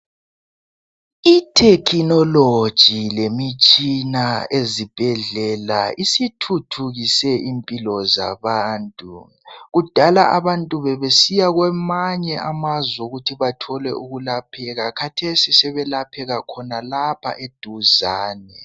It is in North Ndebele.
Ithekhinoloji lemitshina ezibhedlela isithuthukise impilo zabantu, kudala abantu bebesiya kwamanye amazwe ukuthi bathole ukwelapheka khathesi sebelapheka khonapha eduzane.